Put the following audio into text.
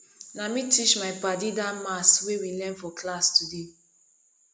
na me teach my paddy dat maths wey we learn for class today